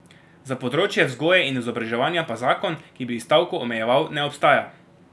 Za področje vzgoje in izobraževanja pa zakon, ki bi stavko omejeval, ne obstaja.